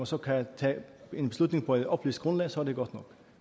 så kan tage en beslutning på et oplyst grundlag så er det godt nok